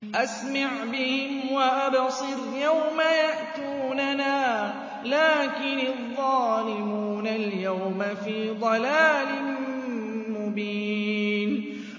أَسْمِعْ بِهِمْ وَأَبْصِرْ يَوْمَ يَأْتُونَنَا ۖ لَٰكِنِ الظَّالِمُونَ الْيَوْمَ فِي ضَلَالٍ مُّبِينٍ